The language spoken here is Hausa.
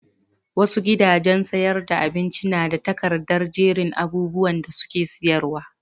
Wasu gidajen sayar da abincin na da takardar jerin abubuwan da suke sayarwa.